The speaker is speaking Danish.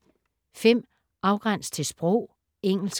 Afgræns til sprog: engelsk